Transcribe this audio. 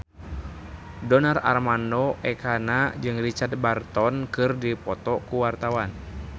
Donar Armando Ekana jeung Richard Burton keur dipoto ku wartawan